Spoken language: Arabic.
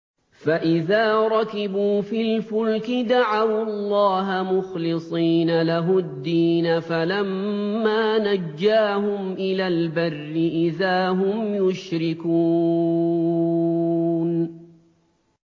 فَإِذَا رَكِبُوا فِي الْفُلْكِ دَعَوُا اللَّهَ مُخْلِصِينَ لَهُ الدِّينَ فَلَمَّا نَجَّاهُمْ إِلَى الْبَرِّ إِذَا هُمْ يُشْرِكُونَ